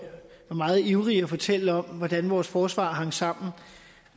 var meget ivrig med at fortælle om hvordan vores forsvar hang sammen